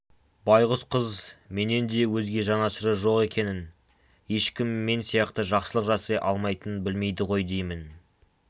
байғұс қыз менен өзге жанашыры жоқ екенін ешкім мен сияқты жақсылық жасай алмайтынын білмейді ғой деймін